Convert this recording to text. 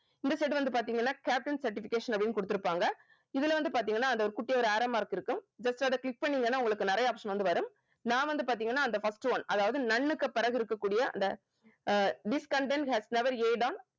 இந்த side வந்து பார்த்தீங்கனா captain certification அப்படின்னு குடுத்திருப்பாங்க இதுல வந்து பார்த்தீங்கன்னா அந்த ஒரு குட்டி யா ஒரு arrow mark இருக்கும் just அதை click பண்ணீங்கன்னா உங்களுக்கு நிறைய option வந்து வரும் நான் வந்து பார்த்தீங்கன்னா அந்த first one அதாவது none க்கு பிறகு இருக்கக்கூடிய அந்த ah this content has never on